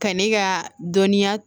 Ka ne ka dɔnniya